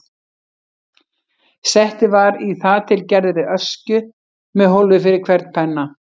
Settið var í þar til gerðri öskju með hólfi fyrir hvern penna.